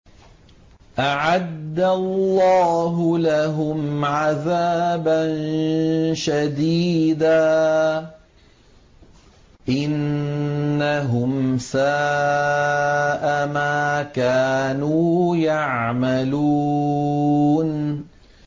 أَعَدَّ اللَّهُ لَهُمْ عَذَابًا شَدِيدًا ۖ إِنَّهُمْ سَاءَ مَا كَانُوا يَعْمَلُونَ